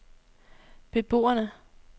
beboerne